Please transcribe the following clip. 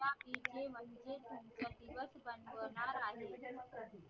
तिथे म्हणजे तुमच दिवस बद होणार आहे